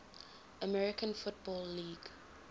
american football league